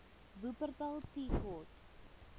wupperthal tea court